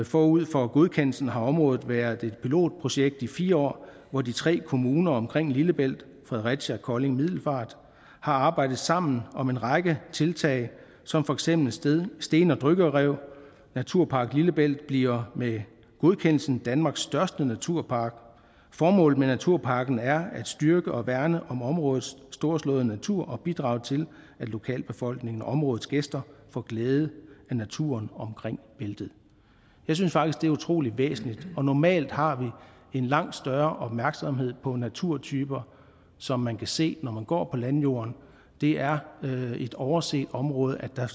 forud for godkendelsen har området været et pilotprojekt i fire år hvor de tre kommuner omkring lillebælt fredericia kolding og middelfart har arbejdet sammen om en række tiltag som for eksempel sten og dykkerrev naturpark lillebælt bliver med godkendelsen danmarks største naturpark formålet med naturparken er at styrke og værne om områdets storslåede natur og bidrage til at lokalbefolkningen og områdets gæster får glæde af naturen omkring bæltet jeg synes faktisk det er utrolig væsentligt normalt har vi en langt større opmærksomhed på naturtyper som man kan se når man går på landjorden og det er et overset område at der